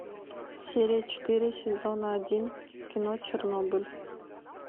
серия четыре сезона один кино чернобыль